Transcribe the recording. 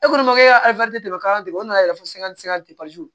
E kɔni ma e ka o nana tɛ se ka